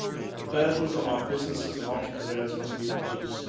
the burdens on our businesses and entrepreneurs must be reduced